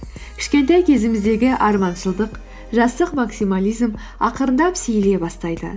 кішкентай кезіміздегі арманшылдық жастық максимализм ақырындап сирей бастайды